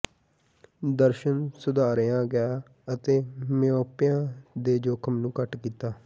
ਦਰਸ਼ਣ ਸੁਧਾਰਿਆ ਗਿਆ ਅਤੇ ਮਿਓਪਿਆ ਦੇ ਜੋਖਮ ਨੂੰ ਘੱਟ ਕੀਤਾ